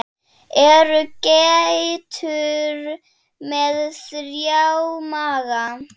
Eru geitur með þrjá maga?